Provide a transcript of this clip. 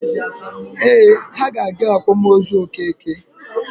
Ee, ha ga-aga akwamozu Okeke.